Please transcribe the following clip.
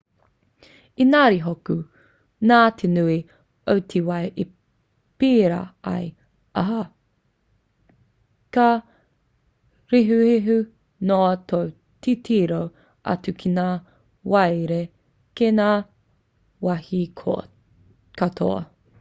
engari hoki nā te nui o te wai i pērā ai ā ka rehurehu noa tō titiro atu ki ngā wairere kei ngā wāhi katoa